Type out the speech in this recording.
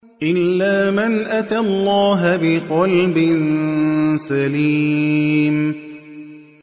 إِلَّا مَنْ أَتَى اللَّهَ بِقَلْبٍ سَلِيمٍ